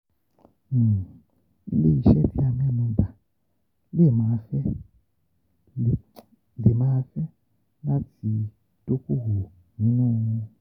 Ile-iṣẹ ti a mẹnuba le maa fe le maa fe lati dokowo ninu...